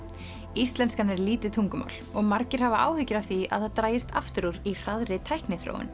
íslenskan er lítið tungumál og margir hafa áhyggjur af því að það dragist aftur úr í hraðri tækniþróun